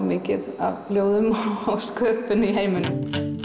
mikið af ljóðum og sköpun í heiminum